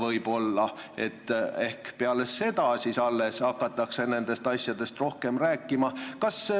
Ehk hakatakse alles peale valimisi nendest asjadest rohkem rääkima.